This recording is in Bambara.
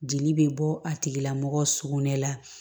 Jeli bɛ bɔ a tigila mɔgɔ sugunɛ la